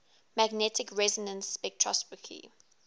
magnetic resonance spectroscopy